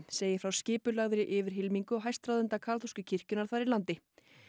segir frá skipulagðri yfirhylmingu hæstráðenda kaþólsku kirkjunnar þar í landi